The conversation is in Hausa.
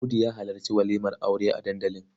Audu ya halarci walimar aure a dandali.